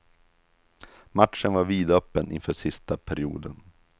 Matchen var vidöppen inför sista perioden.